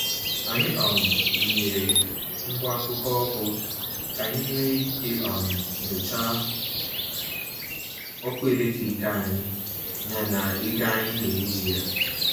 Anyị um wụnyeere ngwa ngụkọ ọkụ ka anyị nwee ike um nyochaa ọkụ eletrik anyị na na ego anyị na-eji ya.